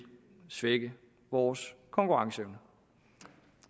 svække vores konkurrenceevne